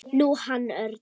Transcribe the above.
Nú, hann Örn.